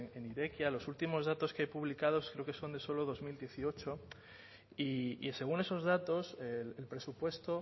en irekia los últimos datos que hay publicados creo que son de solo dos mil dieciocho y según esos datos el presupuesto